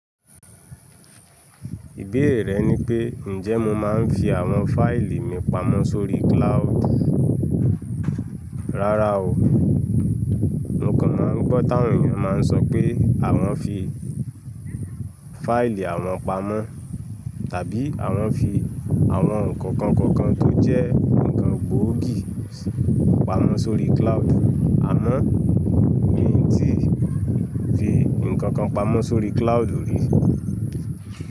Ibéèrè rẹ ni pé, ǹjẹ́ mo máa ń fi àwọn fáìlì mi pamọ́ sórí Klaóòdù? Rárá o, mo kàn máa ń gbọ́ táwọn èyàn máa ń sọ pé àwọn fi fáìlì àwọn pamọ́, tàbí àwọn fi àwọn ǹkan kan kan kan tó jẹ́ ǹkan gbòógì pamọ́ sórí Klaóòdù, àmọ́ mi ò tí fi ǹkankan pamọ́ sórí Klaóòdù rí.